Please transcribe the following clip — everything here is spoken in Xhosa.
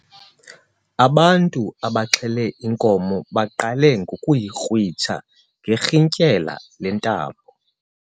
Ubantu abaxhele inkomo baqale ngokuyikrwitsha ngerhintyela lentambo.